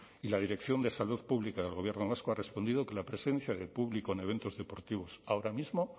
y la dirección de salud pública del gobierno vasco ha respondido que la presencia de público en eventos deportivos ahora mismo